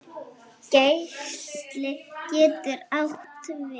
Geisli getur átt við